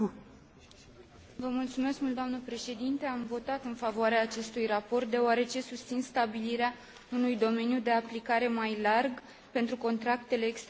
Am votat în favoarea acestui raport deoarece susțin stabilirea unui domeniu de aplicare mai larg pentru contractele extrabursiere standardizate.